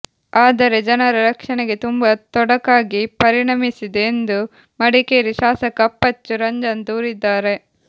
ಆದರೆ ಜನರ ರಕ್ಷಣೆಗೆ ತುಂಬಾ ತೊಡಕಾಗಿ ಪರಿಣಮಿಸಿದೆ ಎಂದು ಮಡಿಕೇರಿ ಶಾಸಕ ಅಪ್ಪಚ್ಚು ರಂಜನ್ ದೂರಿದ್ದಾರೆ